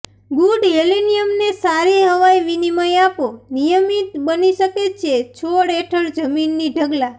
good હેલેનિયમને સારી હવાઈ વિનિમય આપો નિયમિત બની શકે છે છોડ હેઠળ જમીનની ઢગલા